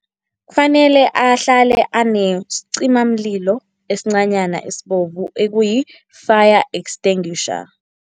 Kufanele ahlale anesicimamlilo esincanyana esibovu, ekuyi fire-extinguisher.